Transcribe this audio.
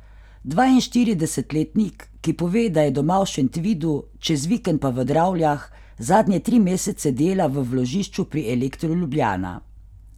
Dvainštiridesetletnik, ki pove, da je doma v Šentvidu, čez vikend pa v Dravljah, zadnje tri mesece dela v vložišču pri Elektru Ljubljana.